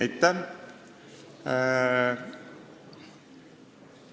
Aitäh!